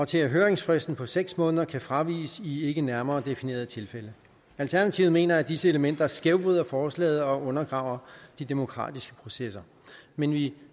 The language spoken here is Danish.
til at høringsfristen på seks måneder kan fraviges i ikke nærmere definerede tilfælde alternativet mener at disse elementer skævvrider forslaget og undergraver de demokratiske processer men vi